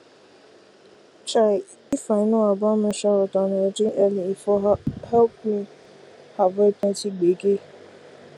chai if i know about menstrual health and hygiene early e for help me avoid plenty gbege